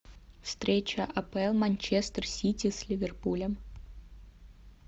встреча апл манчестер сити с ливерпулем